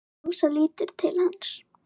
Ása lítur til hans.